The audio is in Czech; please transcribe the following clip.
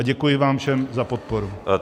A děkuji vám všem za podporu.